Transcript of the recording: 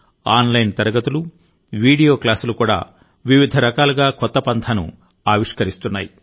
online తరగతులు video క్లాసులు కూడా వివిధ రకాలుగా కొత్త పంథాను ఆవిష్కరిస్తున్నాయి